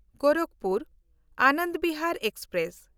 ᱜᱳᱨᱟᱠᱯᱩᱨ–ᱟᱱᱚᱱᱰ Bihar express